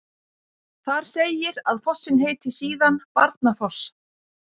þar segir að fossinn heiti síðan barnafoss